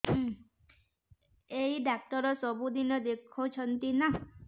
ଏଇ ଡ଼ାକ୍ତର ସବୁଦିନେ ଦେଖୁଛନ୍ତି ନା